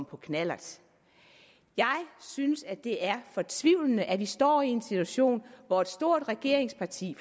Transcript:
på knallert jeg synes at det er fortvivlende at vi står i en situation hvor et stort regeringsparti